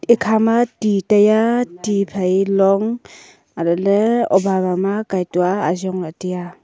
ekha ma ti taiya ti phai long areh le oba ba ma kaitua ajong la teya.